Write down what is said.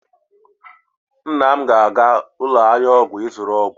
nna m ga-aga n'ụlọ ahịa ọgwụ ịzụrụ ọgwụ